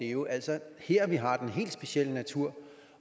jo altså er her vi har den helt specielle natur